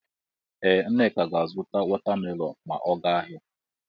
Ee Nneka ga-azụta watamelonụ ma ọ ga ahịa